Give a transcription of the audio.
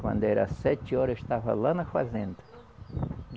Quando era sete horas, eu estava lá na fazenda.